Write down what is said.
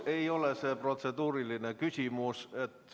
Kahjuks ei ole see protseduuriline küsimus.